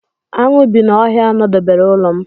Aṅụ bi na ọhịa nọdebere ụlọ m.